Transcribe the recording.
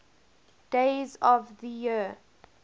days of the year